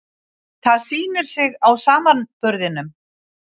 Það sýndi sig á samanburðinum.